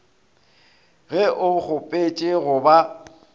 ge o kgopetše go ba